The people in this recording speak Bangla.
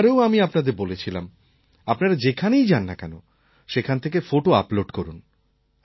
আগের বারেও আমি আপনাদের বলেছিলাম আপনারা যেখানেই যান না কেন সেখান থেকে ফোটো আপলোড করুন